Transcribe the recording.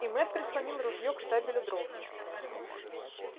и мэтт прислонил ружье к штабелю дров